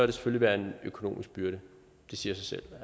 det selvfølgelig være en økonomisk byrde det siger sig selv